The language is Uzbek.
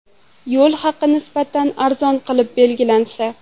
Yo‘l haqi nisbatan arzon qilib belgilansa.